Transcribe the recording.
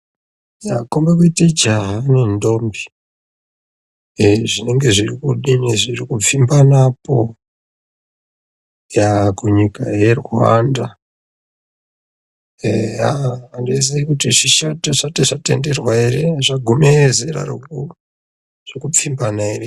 Dzakombe kuite jaya dai zvinenge zviri kudini zviri kupfimbana apo yaa kunyika yeRwanda eya andizii kuti zvishoti zvati zvatenderwa ere zvogume zera reku rekupfimbana ere .